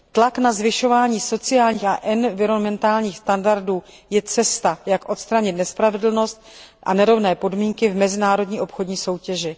Tlak na zvyšování sociálních a environmentálních standardů je cesta, jak odstranit nespravedlnost a nerovné podmínky v mezinárodní obchodní soutěži.